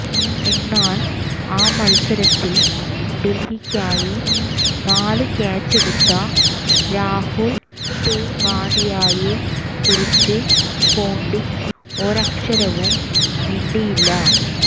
എന്നാൽ ആ മത്സരത്തിൽ ഡൽഹിക്കായി നാല് ക്യാച്ചെടുത്ത രാഹുൽ തെവാതിയയെ കുറിച്ച് പോണ്ടിങ് ഒരക്ഷരവും മിണ്ടിയില്ല